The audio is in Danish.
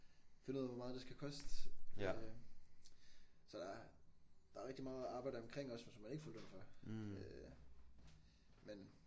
Finde ud af hvor meget det skal koste øh så der er der rigtig meget arbejde omkring også men som man ikke får løn for øh men